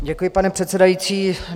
Děkuji, pane předsedající.